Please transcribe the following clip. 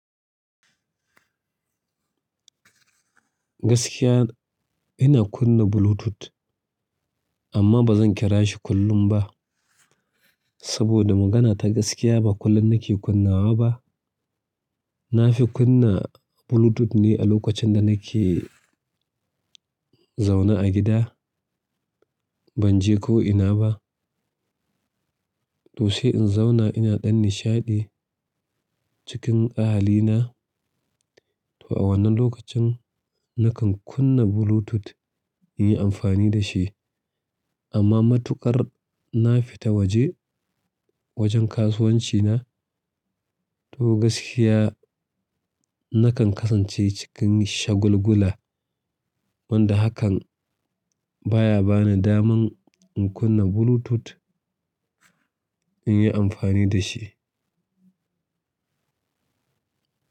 Gaskiya ina kunna Bluetooth amma ba zan kira shi kullum ba. Saboda magana ta gaskiya ba kullum na ke kunnawa ba. Na fi kunna Bluetooth ne a lokacin da na ke zaune a gida. Ban je ko ina ba. To she n zauna ina ɗan nishaɗi cikin ahalina. To a wannan lokacin na kan kunna Bluetooth in yi amfani da shi. Amma matuƙar na fita waje, wajen kasuwanci na. Toh gaskiya nakan kasance cikin shagulgula wanda hakan baya bani daman in kunna Bluetooth inyi anfani dashi.